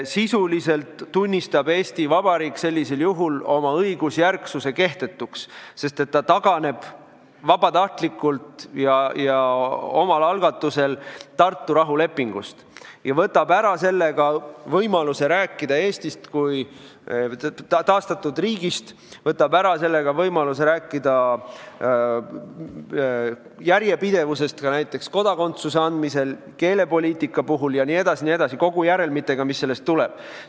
Sisuliselt tunnistab Eesti Vabariik sellisel juhul oma õigusjärgsuse kehtetuks, sest ta taganeb vabatahtlikult ja omal algatusel Tartu rahulepingust ning võtab sellega ära võimaluse rääkida Eestist kui taastatud riigist, võtab ära võimaluse rääkida järjepidevusest ka näiteks kodakondsuse andmisel, keelepoliitika puhul jne, kõigi järelmitega, mis sellest tulenevad.